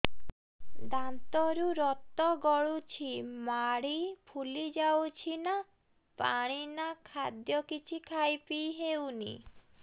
ଦାନ୍ତ ରୁ ରକ୍ତ ଗଳୁଛି ମାଢି ଫୁଲି ଯାଉଛି ନା ପାଣି ନା ଖାଦ୍ୟ କିଛି ଖାଇ ପିଇ ହେଉନି